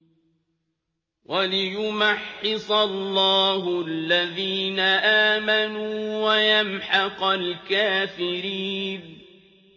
وَلِيُمَحِّصَ اللَّهُ الَّذِينَ آمَنُوا وَيَمْحَقَ الْكَافِرِينَ